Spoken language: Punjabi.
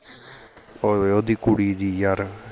ਹੋਵੇ ਓਹਦੀ ਕੁੜੀ ਦੀ ਯਾਰ